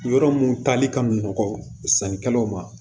Yɔrɔ mun tali ka nɔgɔn sannikɛlaw ma